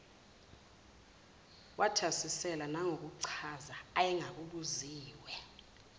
wathasisela nangokuchaza ayengakubuziwe